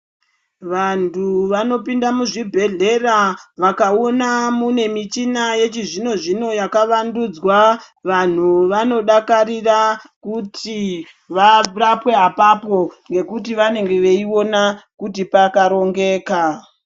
Vantu vanopinda muchibhohlera vakakona mune muchina wechizvino zvino yakavandudzwa vantu vanodakarira kuti varapwe apapo nekuti vanenge veiona kuti pakarongeka.